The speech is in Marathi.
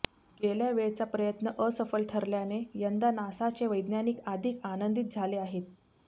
गेल्या वेळचा प्रयत्न असफल ठरल्याने यंदा नासाचे वैज्ञानिक अधिक आनंदीत झाले आहेत